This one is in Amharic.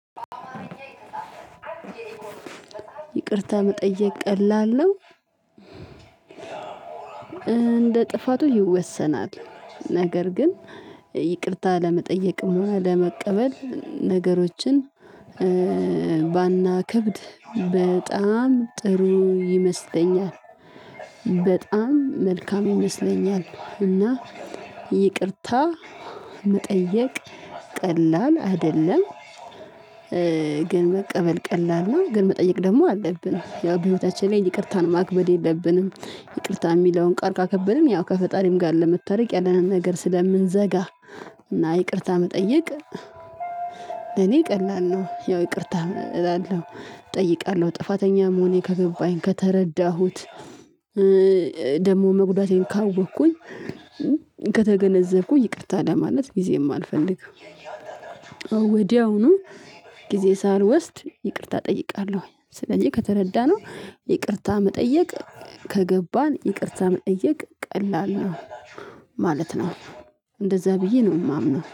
ይቅርታ መጠየቅ ቀላል ነው። እንደ ጥፋቱ ይወሰናል ነገር ግን ይቅርታ ለመጠየቅ እና ለመቀበል ነገሮችን ባናከብድ በጣም ጥሩ ይመስለኛል። በጣም መልካም ይመስለኛል እና ይቅርታ መጠየቅ ቀላል አይደለም። ግን መቀበል ቀላል ነው ግን መጠየቅ ደግሞ አለብን ያው በህይወታችን ላይ ይቅርታን ማክበድ የለብንም። ይቅርታ የሚለውን ቃል ካከበድን ያው ከፈጣሪም ጋር ለመታረቅ ያለንን ነገር ስለምንዘጋ እና ይቅርታ መጠየቅ። እኔ ቀላል ነው ያው ይቅርታ እላለሁ እጠይቃለሁ ጥፋተኛም መሆኔ ከገባኝ ከተረዳሁት። ደግሞ መጉዳቴን ካወቅኩኝ ከተገነዘብኩኝ ይቅርታ ለማለት ጊዜ ማአልፈልግም። ወዲያውኑ ጊዜ ሳልወስድ ይቅርታ እጠይቃለሁ። ስለዚህ ከተረዳነው ይቅርታ መጠየቅ ከገባን ይቅርታ መጠየቅ ቀላል ነው ማለት ነው። እንደዛ ብዬ ነው ማምነው።